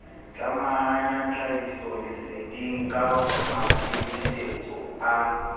tlamahanya tlhahisolesedeng ka maikemitsetso a